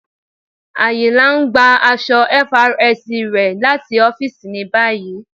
Ayìnla n gbà àṣọ̀ FRSC rẹ̀ láti ọ̀fìísì ní báyì.